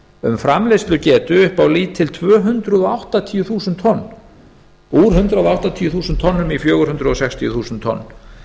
um framleiðslugetu upp á lítil tvö hundruð áttatíu þúsund tonn úr hundrað áttatíu þúsund tonnum í fjögur hundruð sextíu þúsund tonn